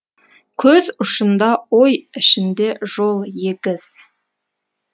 көз ұшында ой ішінде жол егіз